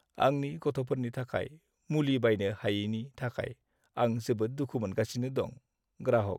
आंनि गथ'फोरनि थाखाय मुलि बायनो हायैनि थाखाय आं जोबोद दुखु मोनगासिनो दं। (ग्राहक)